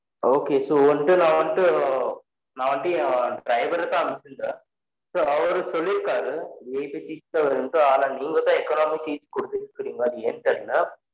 Okay so வந்துட்டு நான் வந்துட்டு நான் வந்துட்டு என் driver தான் அனுப்பிச்சு இருந்தன் so அவரு சொல்லிருக்கார VIPseats தான் வேணும்ட்டு ஆனா நீங்க தான் econamic seat குடுத்துருக்கிறீங்க அது ஏன்னு தெரில